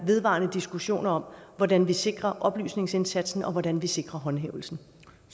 vedvarende diskussioner om hvordan vi sikrer oplysningsindsatsen og hvordan vi sikrer håndhævelsen